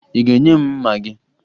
Ị ga-enye m mma gị?